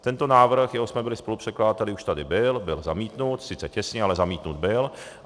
Tento návrh, jehož jsme byli spolupředkladateli, už tady byl, byl zamítnut, sice těsně, ale zamítnut byl.